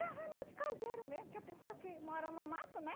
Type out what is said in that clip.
eh remédio caseiro mesmo, que a pessoa que mora no mato, né?